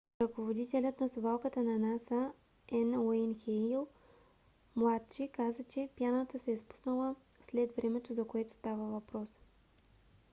ръководителят на совалката на наса – н. уейн хейл младши каза че пяната се е спуснала след времето за което става въпрос